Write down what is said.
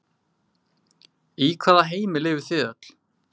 Í hvaða heimi lifið þið öll?